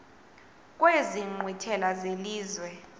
kwezi nkqwithela zelizwe